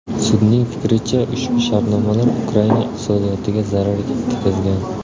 Sudning fikricha, ushbu shartnomalar Ukraina iqtisodiyotiga zarar yetkazgan.